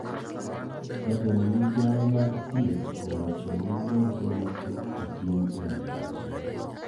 Jatend migao mar thieth owacho ni nonro matut otim e wi wach no